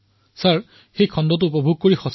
আপোনাৰ সেই খণ্ডটো চাই মই খুব ভাল পালো